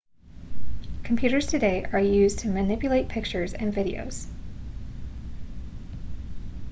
computers today are used to manipulate pictures and videos